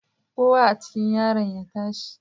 Kowa a cikin yaran ya tashi